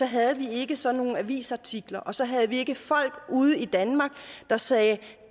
havde vi ikke sådan nogle avisartikler og så havde vi ikke folk ude i danmark der sagde